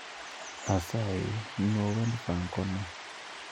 Asayi nuo wend Francono